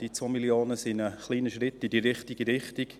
Die 2 Mio. Franken sind ein kleiner Schritt in die richtige Richtung.